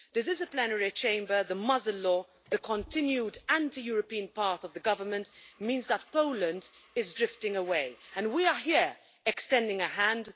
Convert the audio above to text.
The disciplinary chamber, the Muzzle Law', the continued anti European path of the Government means that Poland is drifting away and we are here extending a hand.